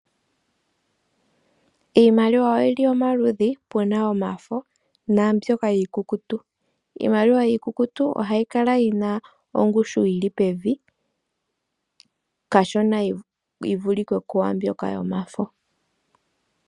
Iimaliwa oyili omaludhi puna omafo, naambyoka iikukutu. Iimaliwa iikukutu oha yi kala yina ongushu yili pevi kashona yi vulike kwaambyoka yomafo.